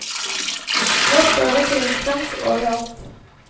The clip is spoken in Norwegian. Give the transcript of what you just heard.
Nå står det krimskrams over alt.